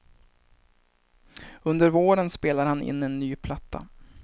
Under våren spelar han in en ny platta.